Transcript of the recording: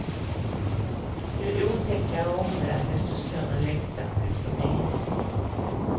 Ju otäckare omvärld desto större längtan efter mening.